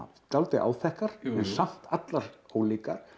dálítið áþekkar en samt allar ólíkar